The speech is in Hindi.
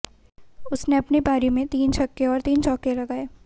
उसने अपनी पारी में तीन छक्के और तीन चौके लगाए